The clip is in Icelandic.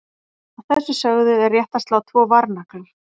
Að þessu sögðu er rétt að slá tvo varnagla.